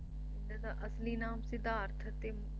ਬੁੱਧ ਦਾ ਅਸਲੀ ਨਾਮ ਸਿਧਾਰਥ ਤੇ